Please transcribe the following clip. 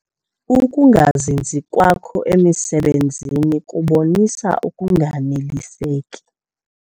Uukungazinzi kwakho emisebenzini kubonisa ukunganeliseki.